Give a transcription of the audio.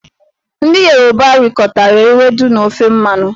Ndị Yoruba rikọtara ewedu na ofe mmanụ.